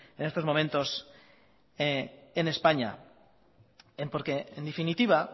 en estos momentos en españa porque en definitiva